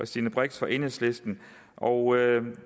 stine brix fra enhedslisten og